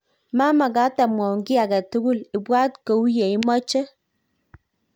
mamekat amwoun kiy age tugul ibwat kou ye imoche